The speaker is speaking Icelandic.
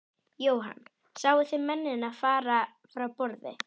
Jóhann: Sáu þið mennina fara frá borði?